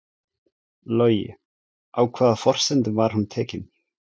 Logi: Á hvaða forsendum var hún tekin?